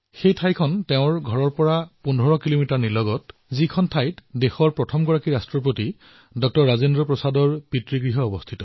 সেই ঠাইডোখৰ হল তেওঁৰ ঘৰৰ পৰা ১৫ কিলোমিটাৰ দূৰৈৰ দেশৰ প্ৰথমগৰাকী ৰাষ্ট্ৰপতি ডাঃ ৰাজেন্দ্ৰ প্ৰসাদৰ পৈতৃক ঘৰ